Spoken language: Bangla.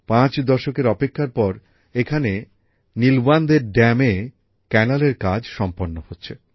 পাঁচ দশকের অপেক্ষার পর এখানে নীলওয়ান্দে জলাধার এ খালের কাজ সম্পন্ন হচ্ছে